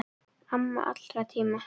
Amma allra tíma.